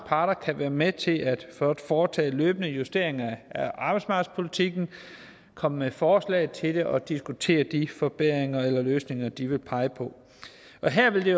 parter kan være med til at foretage løbende justeringer af arbejdsmarkedspolitikken komme med forslag til den og diskutere de forbedringer eller løsninger de vil pege på her vil det